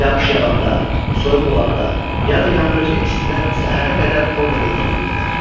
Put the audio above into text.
Yağış yağanda, soyuq olanda, ya da yandırıçı istidə səhərə qədər orada gözləyirdilər.